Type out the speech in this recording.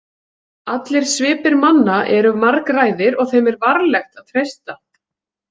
Allir svipir manna eru margræðir og þeim er varlegt að treysta.